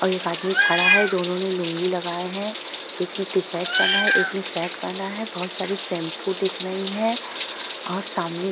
और एक आदमी खड़ा है। दोनों ने लूंगी लगाए है। एक ने टी-शर्ट पहना है एक ने शर्ट पहना है। बहुत सारी शैंपू दिख रही हैं और सामने --